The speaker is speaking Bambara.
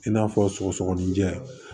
I n'a fɔ sɔgɔsɔgɔninjɛ